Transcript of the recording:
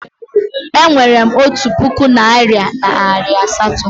Enwerem otu puku naira na nari asatọ